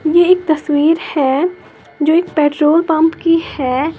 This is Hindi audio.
ये एक तस्वीर है जो एक पेट्रोल पंप की है।